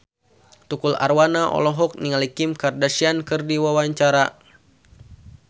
Tukul Arwana olohok ningali Kim Kardashian keur diwawancara